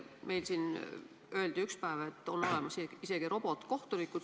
Meil siin öeldi ükspäev, et on olemas isegi robotkohtunikud.